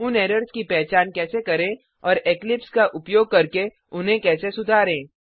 उन एरर्स की पहचान कैसे करें और इक्लिप्स का उपयोग करके उन्हें कैसे सुधारें